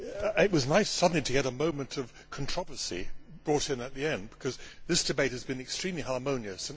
It was nice suddenly to get a moment of controversy brought in at the end, because this debate has been extremely harmonious.